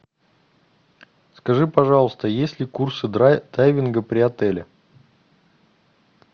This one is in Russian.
скажи пожалуйста есть ли курсы дайвинга при отеле